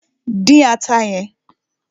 Dín ata yẹn!